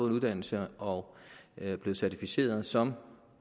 en uddannelse og er blevet certificeret som